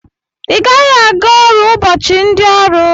Igaghi aga ọrụ ụbọchi ndi ọrụ!!